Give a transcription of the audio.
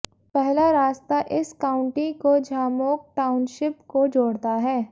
पहला रास्ता इस काउंटी को झामोग टाउनशिप को जोड़ता है